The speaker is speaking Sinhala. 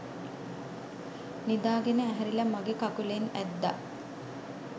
නිදාගෙන ඇහැරිලා මගේ කකුලෙන් ඇද්දා.